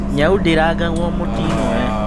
Nyaũ ndĩrangago mũting'oe.